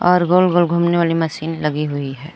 और गोल गोल घूमने वाली मशीन लगी हुई है।